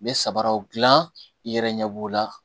N bɛ sabaraw gilan i yɛrɛ ɲɛ b'o la